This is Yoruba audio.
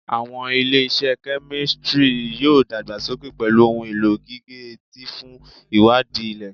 Awọn ile-iṣẹ kemistri yoo dagbasoke pẹlu ohun elo gige-eti fun iwadii ilẹ-ilẹ